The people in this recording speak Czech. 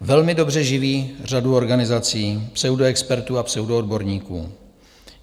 velmi dobře živí řadu organizací, pseudoexpertů a pseudoodborníků.